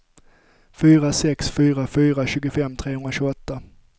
fyra sex fyra fyra tjugofem trehundratjugoåtta